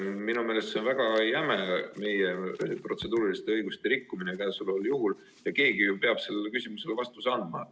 Minu meelest on see meie protseduuriliste õiguste väga jäme rikkumine ja keegi ju peab sellele küsimusele vastuse andma.